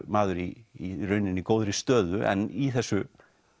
maður í rauninni í góðri stöðu en í þessu